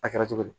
A kɛra cogo di